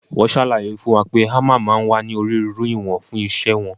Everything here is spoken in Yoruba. Wọ́n ṣàlàyé fún wa pé hámà máa ń wá ní onírúurú ìwọ̀n fún iṣẹ́ wọn.